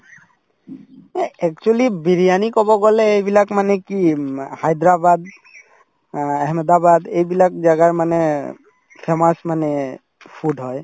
এই actually বিৰিয়ানি কব গলে এইবিলাক মানে কি উম আ হায়দৰাবাদ অ আহমেদাবাদ অ এইবিলাক জাগাৰ মানে famous মানে food হয়